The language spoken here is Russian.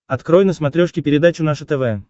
открой на смотрешке передачу наше тв